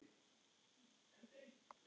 Hann varði minni máttar.